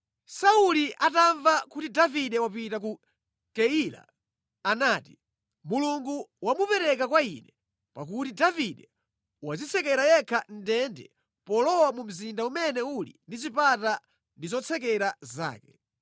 Sauli atamva kuti Davide wapita ku Keila anati, “Mulungu wamupereka kwa ine, pakuti Davide wadzitsekera yekha mʼndende polowa mu mzinda umene uli ndi zipata ndi zotsekera zake.”